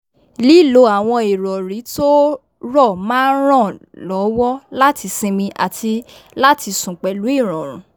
lí lo awọn ìròrí to rọ máa n ran lówó láti sinmi àti láti sùn pẹ̀lú ìròrùn